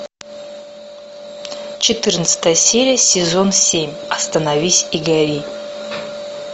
четырнадцатая серия сезон семь остановись и гори